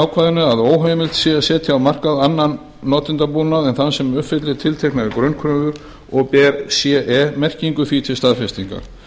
að óheimilt sé að setja á markað annan notendabúnað en þann sem uppfyllir tilteknar grunnkröfur og ber ce merkingu því til staðfestingar